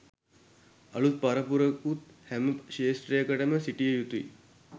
අලුත් පරපුරකුත් හැම ක්ෂේත්‍රයකටම සිටිය යුතුයි.